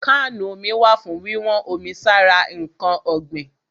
Kánù omi wà fún wíwọ́n omi sára ǹkan ọ̀gbìn.